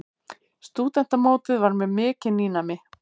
Stúdentamótið var mér mikið nýnæmi.